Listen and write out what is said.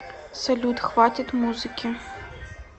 салют хватит музыки